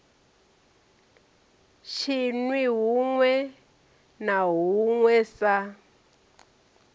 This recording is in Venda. tshinwi huṋwe na huṋwe sa